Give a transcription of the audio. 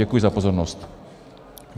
Děkuji za pozornost.